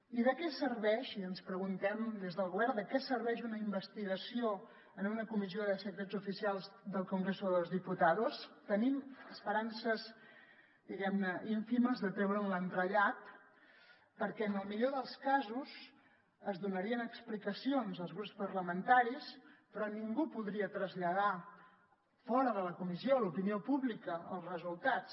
i de què serveix ens preguntem des del govern una investigació en una comissió de secrets oficials del congreso de los diputados tenim esperances diguem ne ínfimes de treure’n l’entrellat perquè en el millor dels casos es donarien explicacions als grups parlamentaris però ningú en podria traslladar fora de la comissió a l’opinió pública els resultats